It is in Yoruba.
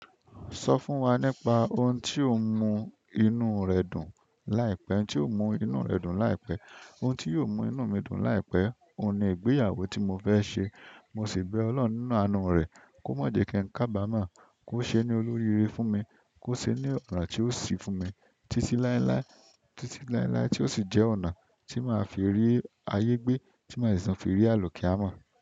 Sọ fún wa ohun ti o mu inú rẹ dùn láìpẹ́. Ohun tí yóò mú inú mi dùn láìpẹ́, òun ni ìgbéyàwó tí mo fẹ́ ṣe. Mo sì bẹ Ọlọ́hhn nínú àánú rẹ̀ kó má jẹ́ kí n kabamọ́, kó ṣe ní olóríire fún mi, kó ṣe ní ọ̀nà tí ó sì fún mi títí láéláé, tí ó sì jẹ́ ọ̀nà tí màá fi rí ayé gbé, tí màá sì tun fi rí àlukiyamọ̀.